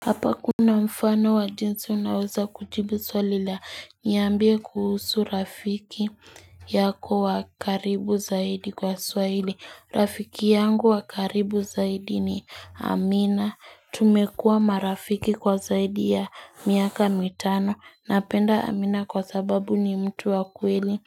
Hapa kuna mfano wa jinsi unaweza kujibu swali la niambie kuhusu rafiki yako wa karibu zaidi kwa swahili rafiki yangu wa karibu zaidi ni Amina tumekua marafiki kwa zaidi ya miaka mitano napenda Amina kwa sababu ni mtu wa kweli